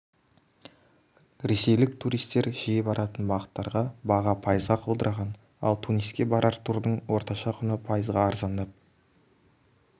ресейлік туристер жиі баратын бағыттарға баға пайызға құлдыраған ал туниске барар турдың орташа құны пайызға арзандап